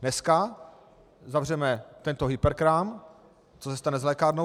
Dneska zavřeme tento hyperkrám - co se stane s lékárnou?